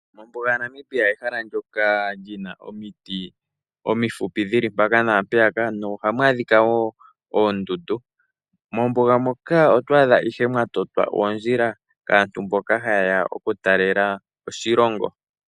Ombuga yomoNamibia oyo ehala lyoka lyina omiti omifupi tadhi yalulwa ashike nohamu a dhika woo oondundu. Mombuga oto a dha mo nee ondjila odhindji dhoka dho totwa po nee kwaambo ha ye ya oku talelapo moshilongo taya zi kiilongo yi ili noyi ili.